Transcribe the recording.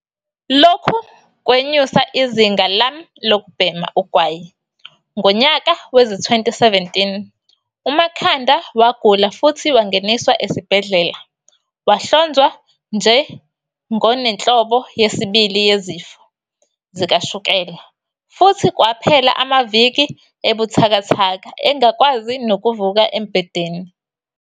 "Lokhu kwenyusa izinga lami lokubhema ugwayi." Ngonyaka wezi-2017, uMakhanda wagula futhi wangeniswa esibhedlela. Wahlonzwa nje ngonenhlobo yesibili yezifo zikashukela futhi kwaphela amaviki ebuthakathaka engakwazi nokuvuka embhedeni.